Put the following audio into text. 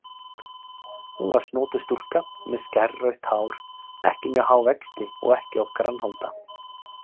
Hún var snotur stúlka með skærrautt hár, ekki mjög há vexti og ekki of grannholda.